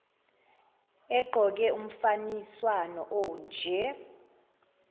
egqoke umfaniswano onje